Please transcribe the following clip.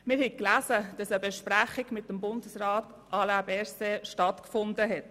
Wir haben gelesen, dass eine Besprechung mit Bundesrat Alain Berset stattgefunden hat.